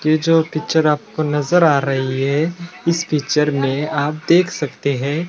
ये जो पिक्चर आपको नजर आ रही है इस पिक्चर में आप देख सकते है।